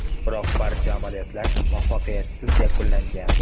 Biroq barcha amaliyotlar muvaffaqiyatsiz yakunlangan.